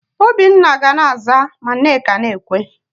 Obinna ga na-aza ma Nneka na-ekwe.